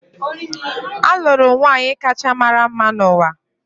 Alụrụ m nwaanyị kacha mara mma n’ụwa